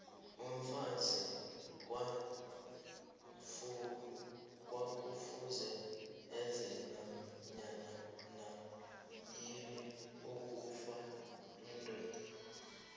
umfazi kwakufuze enze nanyanayini efuna yindoda